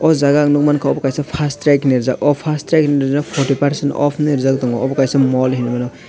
o jaga ang nukmankha abo kaisa first track hinui rijak o first track ni oro forty percent off hinui rijak tongo obo kaisa mall hemmano.